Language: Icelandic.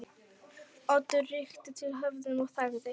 Oddur rykkti til höfðinu og þagði.